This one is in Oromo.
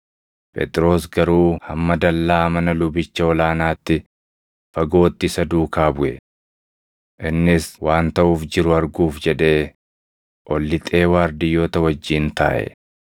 Phexros garuu hamma dallaa mana lubicha ol aanaatti fagootti isa duukaa buʼe. Innis waan taʼuuf jiru arguuf jedhee ol lixee waardiyyoota wajjin taaʼe.